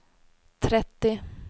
trettio